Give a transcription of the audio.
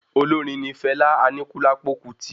Olórin ní Fela Anikulapo Kuti